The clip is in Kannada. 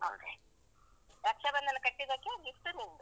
Okay . ರಕ್ಷಾಬಂಧನ ಕಟ್ಟಿದಕ್ಕೆ gift ನಿಂದು.